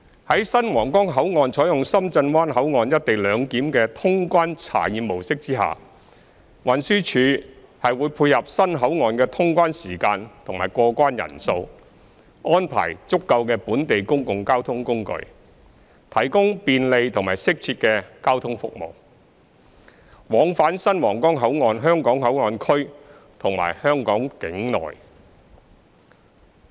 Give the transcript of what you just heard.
在新皇崗口岸採用深圳灣口岸"一地兩檢"的通關查驗模式下，運輸署會配合新口岸的通關時間及過關人數，安排足夠的本地公共交通工具，提供便利及適切的交通服務，往返新皇崗口岸香港口岸區和香港境內。